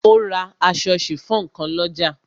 O ra aṣọ sifon kan lọ́jà.